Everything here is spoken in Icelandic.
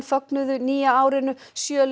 fögnuðu nýja árinu sjö